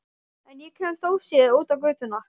En ég kemst óséð út á götuna.